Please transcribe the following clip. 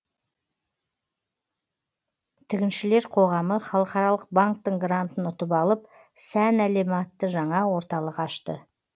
тігіншілер қоғамы халықаралық банктың грантын ұтып алып сән әлемі атты жаңа орталық ашты